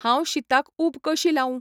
हांव शीताक ऊब कशी लावूं?